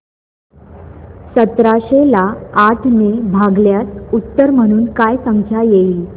सतराशे ला आठ ने भागल्यास उत्तर म्हणून काय संख्या येईल